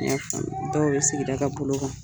N ya faamu, dɔw bɛ sigida ka bolo kan.